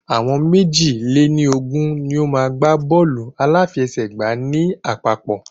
Àwọn méjì lè ní Ogún ni o maá n gbá bọ́ọ̀lù aláfiẹ̀sẹ́gba ní àpapọ̀